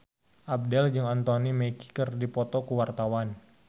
Abdel jeung Anthony Mackie keur dipoto ku wartawan